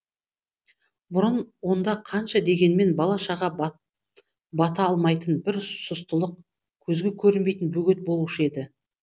бұрын онда қанша дегенмен бала шаға бата алмайтын бір сұстылық көзге көрінбейтін бөгет болушы еді